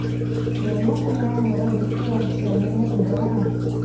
என்ன பண்ண ஒரே busy ஆயிடுச்சு நீ என்ன பண்ற?